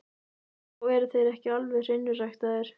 Þá eru þeir ekki alveg hreinræktaðir.